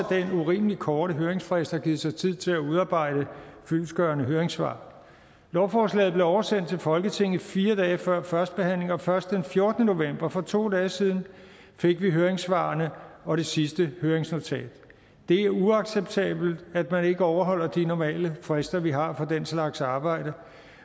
urimelig korte høringsfrist har givet sig tid til at udarbejde fyldestgørende høringssvar lovforslaget blev oversendt til folketinget fire dage før førstebehandlingen og først den fjortende november for to dage siden fik vi høringssvarene og det sidste høringsnotat det er uacceptabelt at man ikke overholder de normale frister vi har for den slags arbejde